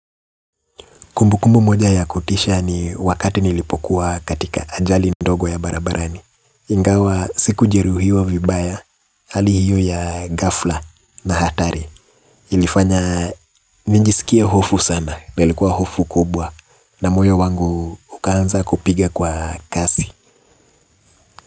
Kumbukumbu moja ya kutisha ni wakati nilipokuwa katika ajali ndogo ya barabarani. Ingawa sikujeruhiwa vibaya, hali hiyo ya ghafla na hatari ilifanya nijisikie hofu sana na likuwa hofu kubwa na moyo wangu ukaanza kupiga kwa kasi.